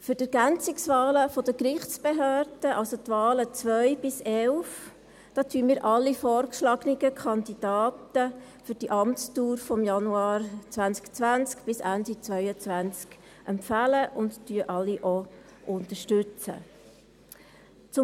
Für die Ergänzungswahlen der Gerichtsbehörden, also die Wahlen 2 bis 11, empfehlen wir alle vorgeschlagenen Kandidatinnen für die Amtsdauer von Januar 2020 bis Ende 2022 und unterstützen auch alle.